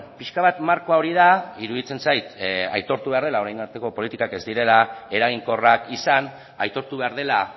pixka bat markoa hori da iruditzen zait aitortu behar dela orain arteko politikak ez direla eraginkorrak izan aitortu behar dela